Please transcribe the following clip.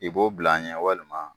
I b'o bila an ɲɛ walima?